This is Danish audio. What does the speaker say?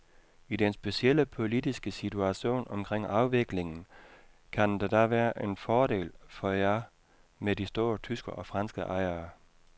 I den specielle politiske situation omkring afviklingen, kan det da være en fordel for jer med de store tyske og franske ejere.